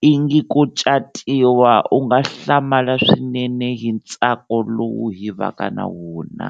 i ngi ko catiwa, u nga hlamala swinene hi ntsako lowu hi vaka na wona.